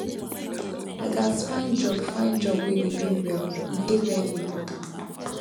i gats find job find job wey dey pay well e dey very important now